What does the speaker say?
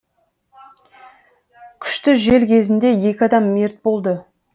күшті жел кезінде екі адам мерт болды